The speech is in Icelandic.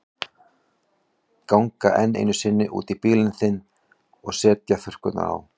Ganga enn einu sinni út í bílinn sinn og setja þurrkurnar á.